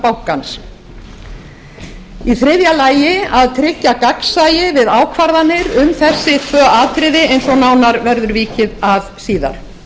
bankans í þriðja lagi að tryggja gagnsæi við ákvarðanir um þessi tvö atriði eins og nánar verður vikið að síðar